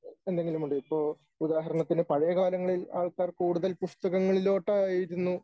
എന്തെങ്കിലുമുണ്ടോ? ഇപ്പൊ ഉദാഹരണത്തിന് പഴയ കാലങ്ങളിൽ ആൾക്കാർ കൂടുതൽ പുസ്തകങ്ങളിലോട്ടായിരുന്നു